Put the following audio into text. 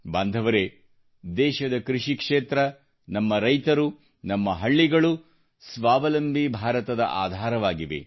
ಬಾಂಧವರೇ ದೇಶದ ಕೃಷಿಕ್ಷೇತ್ರ ನಮ್ಮ ರೈತರು ನಮ್ಮ ಹಳ್ಳಿಗಳು ಸ್ವಾವಲಂಬಿ ಭಾರತದ ಆಧಾರವಾಗಿದೆ